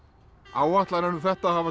áætlanir um þetta hafa